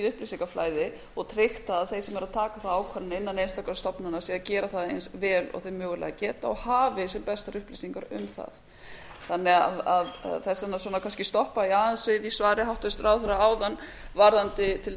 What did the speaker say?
upplýsingaflæði og tryggt það að þeir sem eru að taka þá ákvörðun innan einstakra stofnana séu að gera það eins vel og þeir mögulega geta og hafi sem bestar upplýsingar um það þannig að þess vegna kannski stoppa ég aðeins við í svari háttvirtur ráðherra áðan varðandi til